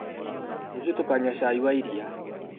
Rũciũ tũkanywa cai wa iria.